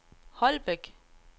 Holbæk